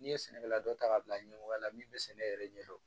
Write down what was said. N'i ye sɛnɛkɛla dɔ ta k'a bila ɲɛmɔgɔya la min bɛ sɛnɛ yɛrɛ ɲɛdɔn